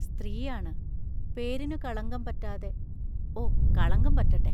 സ്ത്രീയാണ്; പേരിനു കളങ്കം പറ്റാതെ ഓ, കളങ്കം പറ്റട്ടെ!